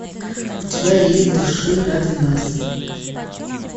у тебя есть дыши ради нас